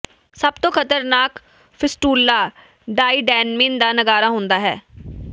ਸਭ ਤੋਂ ਖ਼ਤਰਨਾਕ ਫ਼ਿਸਟੁਲਾ ਡਾਈਡੇਨਮਿਨ ਦਾ ਨਗਾਰਾ ਹੁੰਦਾ ਹੈ